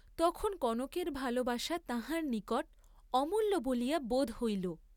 তখন কনকের ভালবাসা তাঁহার নিকট অমূল্য বলিয়া বোধ হইল।